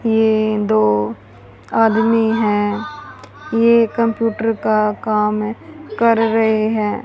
ये दो आदमी हैं ये कंप्यूटर का काम ए कर रहें हैं।